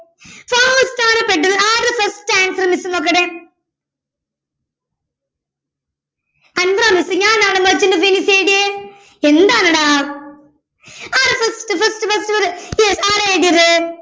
fast പെട്ടെന്ന് ആരതാ first answer ന്ന് miss നോക്കട്ടെ അൻവറ miss ഞാനാണോ merchant of venice എഴുതിയെ എന്താണെടാ ആരാ first first first yes ആരാ എഴുതിയത്